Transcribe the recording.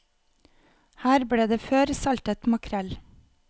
Her ble det før saltet makrell.